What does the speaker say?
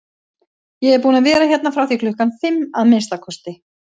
Ég er búinn að vera hérna frá því klukkan fimm, að minnsta kosti